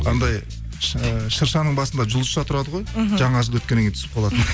анандай ы шыршаның басында жұлдызша тұрады ғой мхм жаңа жыл өткеннен кейін түсіп қалатын